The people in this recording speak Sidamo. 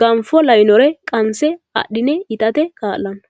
ganfo'oo lawinore qanse adhi'ne itate ka'lanno.